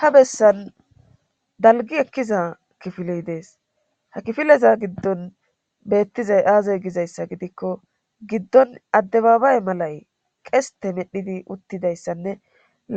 Ha bessan dalgi ekkiza kifiley dees ha kifileza giddon beettizay aazoy gizayssa gidikko giddon addebaabay malay qesete medhidi uttidayssanne